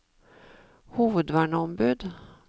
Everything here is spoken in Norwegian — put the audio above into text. hovedverneombud